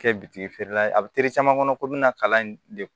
Kɛ bitiki feerela ye a bɛ caman kɔnɔ ko bɛna kalan in de